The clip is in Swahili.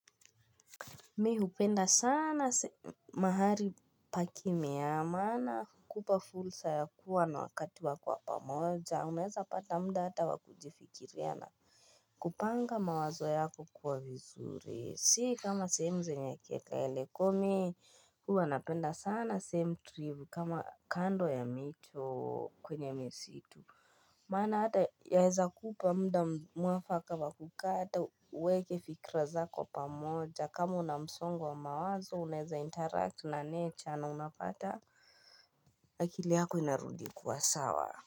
Mi hupenda sana mahali pakimya maana hukupa fursa ya kuwa na wakati wako wa pamoja unameza pata muda hata wa kujifikiriana. Kupanga mawazo yako kuwa vizuri si kama sehemu zenye kelele kwahyo mi huwa napenda sana sehemu tulivu kama kando ya mito kwenye misitu. Maana hata yaweza kukupa muda mwafaka wa kukaa hata uweke fikra zako pamoja kama una msongo wa mawazo unaweza interact na necha na unapata akili yako inarudi kuwa sawa. Kwa hivyo.